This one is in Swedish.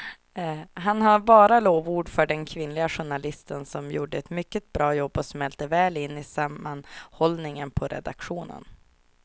Han har bara lovord för den kvinnliga journalisten som gjorde ett mycket bra jobb och smälte väl in i sammanhållningen på redaktionen.